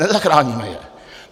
Nezachráníme je.